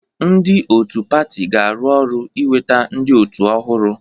Ndị otu pati ga-arụ ọrụ iweta ndị otu ọhụrụ.